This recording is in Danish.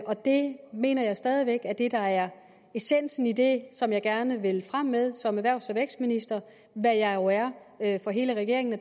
og det mener jeg stadig væk er det der er essensen i det som jeg gerne vil frem med som erhvervs og vækstminister hvad jeg jo er er for hele regeringen